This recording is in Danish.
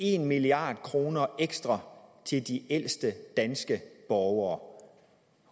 en milliard kroner ekstra til de ældste danske borgere